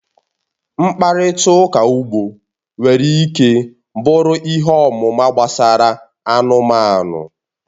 Mkparịta ụka ugbo nwere ike bụrụ ihe ọmụma gbasara anụmanụ